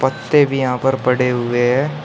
पत्तें भी यहां पर पड़े हुए हैं।